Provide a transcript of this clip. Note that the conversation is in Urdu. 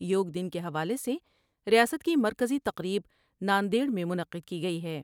یوگ دن کے حوالے سے ریاست کی مرکزی تقریب نا ندیڑ میں منعقد کی گئی ہے ۔